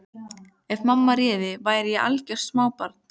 Ef mamma réði væri ég algjört smábarn.